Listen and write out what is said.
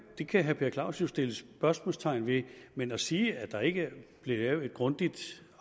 det kan herre per clausen så sætte spørgsmålstegn ved men at sige at der ikke blev lavet et grundigt